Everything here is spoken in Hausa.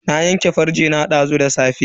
Na yanke farce na dazu da safe.